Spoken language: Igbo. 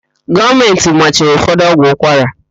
Gọọmentị machiri ụfọdụ ọgwụ ụkwara.